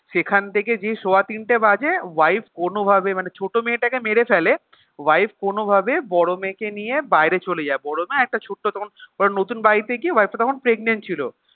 সেখান থেকে যেই সোয়া তিনটে বাজে wife কোনোভাবে মানে ছোটো মেয়েটাকে মেরে ফেলে wife কোনোভাবে বড় মেয়েকে নিয়ে বাইরে চলে যায় বড় না একটা ছোট্ট তখন নতুন বাড়িতে গিয়ে wife টা তখন pregnant ছিল